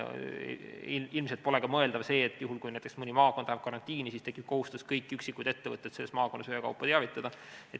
Ilmselt pole mõeldav ka see, et kui näiteks mõni maakond läheb karantiini, siis tekib kohustus kõiki üksikuid ettevõtteid selles maakonnas ühekaupa teavitada.